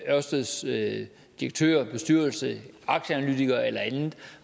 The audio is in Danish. ørsteds direktør og bestyrelse aktieanalytikere eller